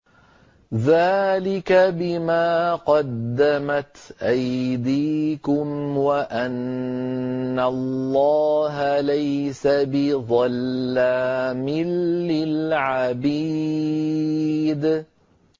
ذَٰلِكَ بِمَا قَدَّمَتْ أَيْدِيكُمْ وَأَنَّ اللَّهَ لَيْسَ بِظَلَّامٍ لِّلْعَبِيدِ